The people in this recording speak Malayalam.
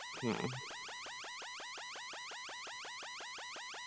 ഹ്മ്മ്